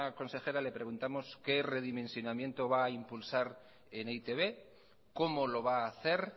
consejera le preguntamos qué redimensionamiento va a impulsar en e i te be cómo lo va a hacer